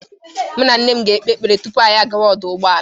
Mụ na nne m ga-ekpe ekpere tupu anyị agawa ọdụ ụgbọala.